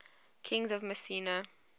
kings of mycenae